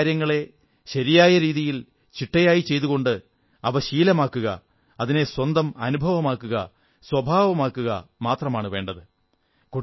ചെറിയ ചെറിയ കാര്യങ്ങളെ ശരിയായി രീതിയിൽ ചിട്ടയായി ചെയ്തുകൊണ്ട് അവ ശീലമാക്കുക അതിനെ സ്വന്തം സ്വഭാവമാക്കുക മാത്രമാണു വേണ്ടത്